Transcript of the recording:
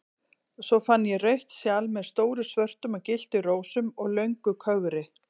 Svo fann ég rautt sjal með stórum svörtum og gylltum rósum og löngu kögri.